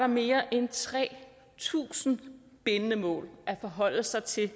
mere end tre tusind bindende mål at forholde sig til